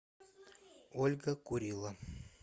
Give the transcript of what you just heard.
ольга курило